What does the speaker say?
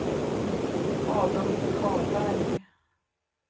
Adolf Karlberg